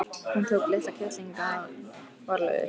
Hann tók litla kettlinginn varlega upp.